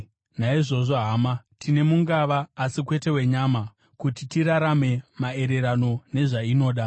Naizvozvo, hama, tine mungava, asi kwete wenyama, kuti tirarame maererano nezvainoda.